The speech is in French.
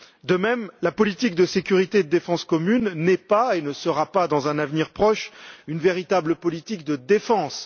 De même, la politique de sécurité et de défense commune n'est pas et ne sera pas dans un avenir proche une véritable politique de défense.